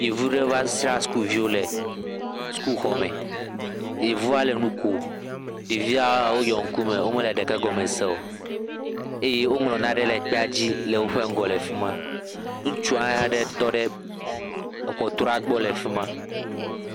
Yevu ɖe va srã sukuviwo le sukuxɔ me. Yevua le nu kom. Ɖeviawo yɔ ŋkume wome le ɖeke gɔme se o eye woŋlɔ nane ɖe kpea dzi le woƒe ŋgɔ le fi ma. Ŋutsu aɖe tɔ ɖe eŋɔtrɔa gbɔ le fi ma.